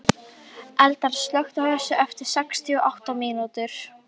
Eldar, slökktu á þessu eftir sextíu og átta mínútur.